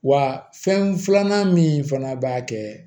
Wa fɛn filanan min fana b'a kɛ